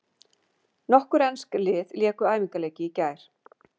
Nokkur ensk lið léku æfingaleiki í gær.